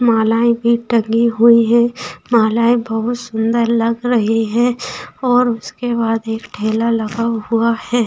मालाएं भी टंगी हुए हैं मालाएं बहुत सुंदर लग रही हैं और उसके बाद एक ठेला लगा हुआ है।